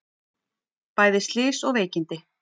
Bæði slys og veikindi